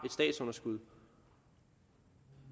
statsunderskud